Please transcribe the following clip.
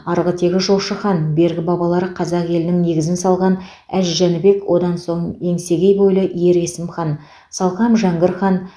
арғы тегі жошы хан бергі бабалары қазақ елінің негізін салған әз жәнібек одан соң еңсегей бойлы ер есім хан салқам жәңгір хан